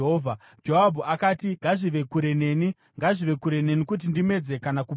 Joabhu akati, “Ngazvive kure neni! Ngazvive kure neni kuti ndimedze kana kuparadza!